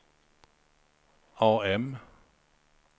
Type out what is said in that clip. AM